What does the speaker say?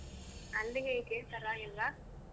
ಅಲ್ಲಿ ಹೇಗೆ ಪರ್ವಾಗಿಲ್ವಾ?